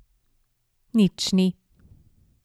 Nič ni.